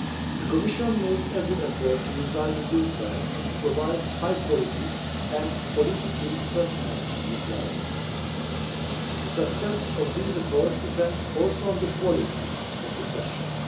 The Commission makes every effort to reply in good time and to provide high quality and politically pertinent replies. The success of these efforts depends also on the quality of the questions.